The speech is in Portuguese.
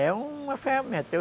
É uma ferramenta.